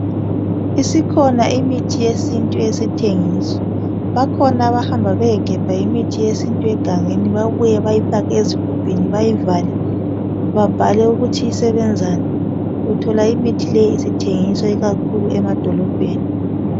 Isikhona imithi yesintu esithengiswa bakhona abahamba beyegebha imithi yesintu egangeni babuye bayifake ezigubhini bayivale babhale ukuthi isebenzani , uthola imithi le isithengiswa ikakhulu emadolobheni.